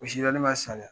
O sida ne b'a sariya